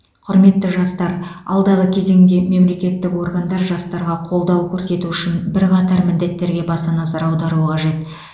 құрметті жастар алдағы кезеңде мемлекеттік органдар жастарға қолдау көрсету үшін бірқатар міндеттерге баса назар аударуы қажет